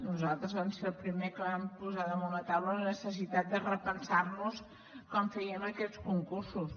nosaltres vam ser els primers que vam posar damunt la taula la necessitat de repensar nos com fèiem aquests concursos